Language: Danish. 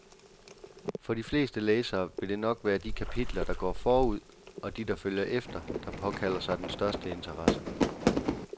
For de fleste læsere vil det nok være de kapitler, der går forud, og de, der følger efter, der påkalder sig den største interesse.